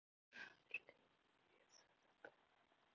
Gunnar Atli: Er þetta besta kleina sem þú hefur smakkað?